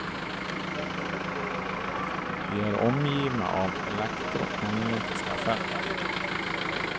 Vi är omgivna av elektromagnetiska fält.